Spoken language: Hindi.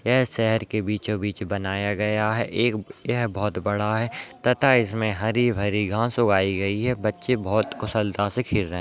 यह शहर के बीचों बीच बनया गया है एक यह बहोत बड़ा है तथा इसमे हरी भारी घास उगाई गई है बच्चे बहोत कुशलता से खेल रहे हैं।